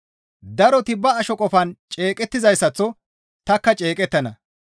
Daroti ba asho qofaan ceeqettizayssaththo tanikka ceeqettana.